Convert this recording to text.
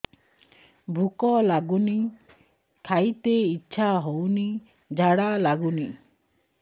ଭୁକ ଲାଗୁନି ଖାଇତେ ଇଛା ହଉନି ଝାଡ଼ା ଲାଗୁନି